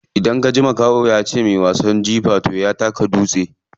Idan kaji makaho yace muyi wasan jifa toh ya taka dutse ne.